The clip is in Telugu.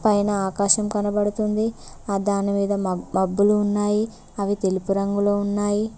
పైన ఆకాశం కనబడుతుంది ఆ దానిమీద మా బబ్లు ఉన్నాయి అవి తెలుపు రంగులో ఉన్నాయి.